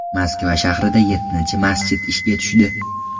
Moskva shahrida yettinchi masjid ishga tushdi.